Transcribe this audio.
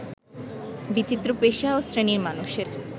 বিচিত্র পেশা ও শ্রেণীর মানুষের